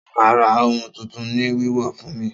Ta ló ma ra ohun tuntun ni wíwọ̀ fún mi?